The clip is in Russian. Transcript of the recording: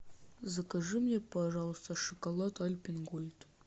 закажи мне пожалуйста шоколад альпен гольд